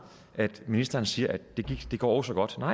når ministeren siger at det går så godt og